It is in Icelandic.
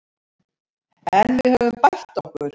En við höfum bætt okkur